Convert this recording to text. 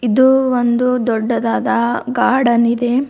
ಇದು ಒಂದು ದೊಡ್ಡದಾದ ಗಾರ್ಡನ್ ಇದೆ.